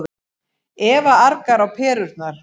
Eva argar á perurnar.